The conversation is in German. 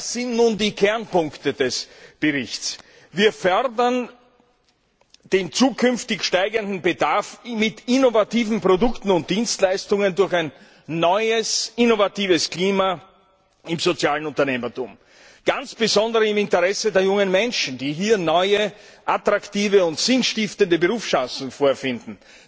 Das sind nun die Kernpunkte des Berichts Wir fördern den zukünftig steigenden Bedarf an innovativen Produkten und Dienstleistungen durch ein neues innovatives Klima im sozialen Unternehmertum ganz besonders im Interesse der jungen Menschen, die hier neue, attraktive und sinnstiftende Berufschancen vorfinden.